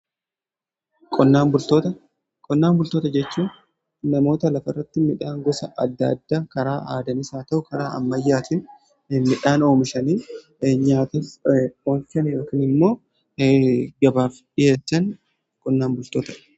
qonnaan bultoota jechuun namoota lafa irratti midhaan gosa adda addaa karaa aadaanis yaa ta'u karaa ammayyaatiin midhaan oomshanii yookiin immoo gabaaf dhiyeessan qonnaan bultoota jedhamu.